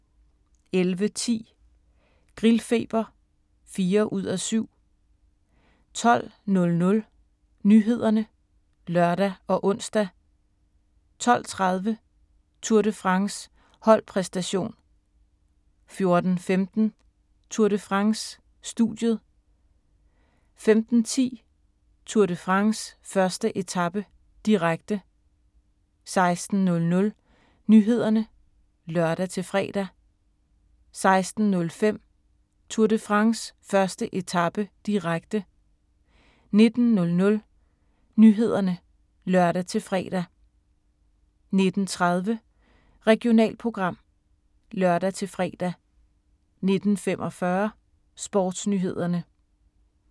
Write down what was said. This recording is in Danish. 11:10: Grillfeber (4:7) 12:00: Nyhederne (lør og ons) 12:30: Tour de France: Holdpræsentation 14:15: Tour de France: Studiet 15:10: Tour de France: 1. etape, direkte 16:00: Nyhederne (lør-fre) 16:05: Tour de France: 1. etape, direkte 19:00: Nyhederne (lør-fre) 19:30: Regionalprogram (lør-fre) 19:45: Sportsnyhederne